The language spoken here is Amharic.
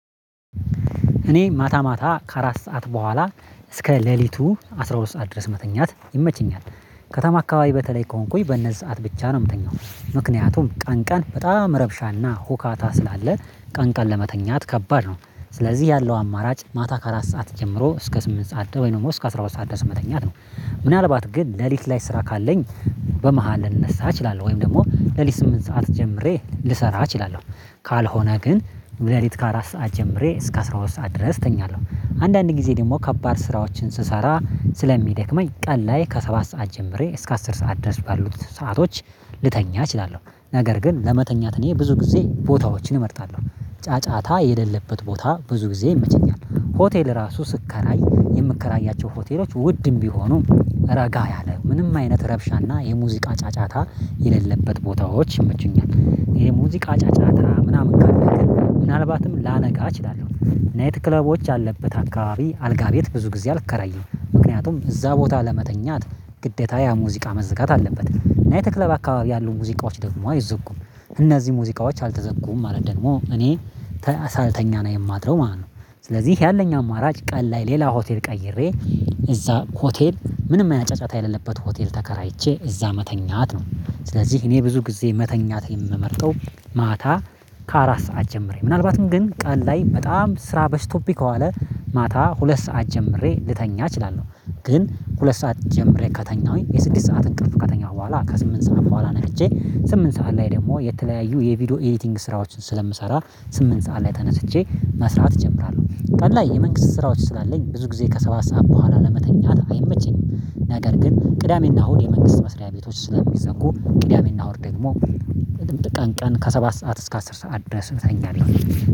እኔ ማታ ማታ ከአራት ሰዓት በኋላ እስከ ሌሊቱ አስራ ሁለት ሰዓት ድረስ መተኛት ይመቸኛል። ከተማ አካባቢ በተለይ ከሆንኩኝ በነዚህ ሰዓት ብቻ ነው የምተኛው። ምክንያቱም ቀን ቀን በጣም ረብሻና ሁካታ ስላለ ቀን ቀን ለመተኛት ከባድ ነው። ስለዚህ ያለው አማራጭ ማታ ከአራት ሰዓት ጀምሮ እስከ ስምንት ሰዓት ደግሞ እስከ አስራ ሁለት ሰዓት ድረስ መተኛት ነው። ምናልባት ግን ሌሊት ላይ ስራ ካለኝ። በመሃል ልነሳ እችላለሁ ወይም ደግሞ ሌሊት ስምንት ሰዓት ጀምሬ ልሰራ እችላለም። ካልሆነ ግን ሌሊት ከአራት ሰዓት ጀምሬ እስከ አስራ ሁለት ሰዓት ድረስ እተኛለሁ። አንዳንድ ጊዜ ደግሞ ከባድ ስራዎችን ስሰራ ስለሚደክመኝ ቀን ላይ ከሰባት ሰዓት ጀምሬ እስከ አስር ሰዓት ድረስ ባሉት ሰአቶች። ልተኛ እችላለሁ ነገር ግን ለመተኛት እኔ ብዙ ጊዜ ቦታዎችን እመርጣለሁ። ጫጫታ የሌለበት ቦታ ብዙ ጊዜ ይመቸኛል። ሆቴል እራሱ ስከራይ የምከራያቸው ሆቴሎች ውድም ቢሆኑም። ረጋ ያለ ምንም አይነት ረብሻና የሙዚቃ ጫጫታ የሌለበት ቦታዎች ይመቹኛል። የሙዚቃ ጫጫታ ምናምን ካላ ግን ምናልባትም ላነቃ እችላለሁ። ናይት ክለቦች የለበት አካባቢ አልጋ ቤት ብዙ ጊዜ አልከራየም። ምክንያቱም እዛ ቦታ ለመተኛት ግዴታ ያ ሙዚቃ መዘጋት አለበት። ናይት ክለብ አካባቢ ያሉ ሙዚቃዎች ደግሞ አይዘጉም። እነዚህ ሙዚቃዎች አልተዘጉም ማለት ደግሞ እኔ ሳልተኛ ነው የማድረው ማለት ነው። ስለዚህ ያለኝ አማራጭ ቀን ላይ ሌላ ሆቴል ቀይሬ እዛ ሆቴል ምንም አይነት ጫጫታ የሌለበት ሆቴል ተከራይቼ እዛ መተኛት ነው። ስለዚህ እኔ ብዙ ጊዜ መተኛት የምመርጠው ማታ ከአራት ሰዓት ጀምረኝ ምናልባትም ግን ቀን ላይ በጣም ስራ በስቶብኝ ከዋለ። ማታ ሁለት ሰዓት ጀምሬ ልተኛ እችላለሁ። ግን ሁለት ሰዓት ጀምሬ ከተኛሁኝ የስድስት ሰዓትን እንቅፍ ከተኛሁ በኋላ ከስምንት ሰዓት በኋላ ነቅቼ። ስምንት ሰዓት ላይ ደግሞ የተለያዩ የቪዲዮ ኤዲቲንግ ስራዎችን ስለምሰራ። ስምንት ሰዓት ላይ ተነስቼ መስራት እጀምራለሁ። ቀን የመንግስት ስራዎች ስላለኝ ብዙ ጊዜ ከሰባት ሰዓት በኋላ ለመተኛት አይመችም። ነገር ግን ቅዳሜ እና አሁድ የመንግስት መስሪያ ቤቶች ስለሚዘጉ ቅዳሜና እሁድ ደግሞ። ቀን ቀን ከሰባት ሰዓት እስከ አስር ሰዓት ድረስ እተኛለሁ።